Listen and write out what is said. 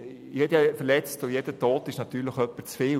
Jeder Verletzte und jeder Tote ist natürlich einer zu viel.